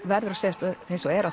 verður að segjast eins og er